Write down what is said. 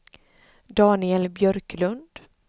Daniel Björklund